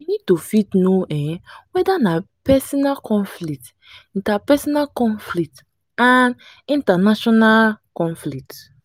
we need to fit know um weda na personal conflict interpersonal conflict and international conflict